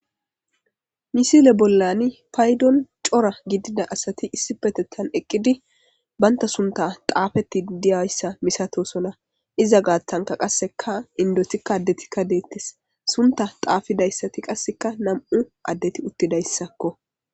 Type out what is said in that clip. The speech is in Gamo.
Misile bollan payddon cora gidida asati issipeththtan eqqidi bantta sunththa xaaafetidi diyassa misatoosona. Iza gaaththankka qasseka inddotikka addetikka deetees Sunththa xaafidayssati qassikka nam7uu addeti uttidayssako.